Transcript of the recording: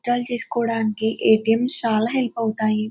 Withdraw చేసుకోడానికి A. T. M. చాలా help అవుతాయి.